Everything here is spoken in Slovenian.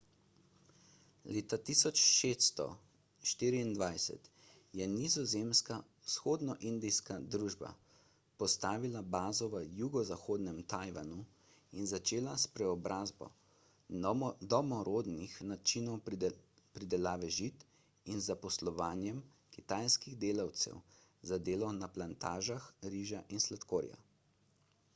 leta 1624 je nizozemska vzhodnoindijska družba postavila bazo v jugozahodnem tajvanu in začela s preobrazbo domorodnih načinov pridelave žit in zaposlovanjem kitajskih delavcev za delo na plantažah riža in sladkorja